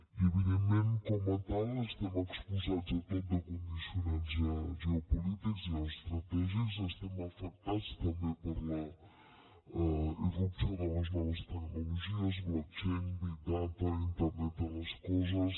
i evidentment com a tal estem exposats a tot de condicionants geopolítics i geoestratègics estem afectats també per la irrupció de les noves tecnologies blockchain big data internet de les coses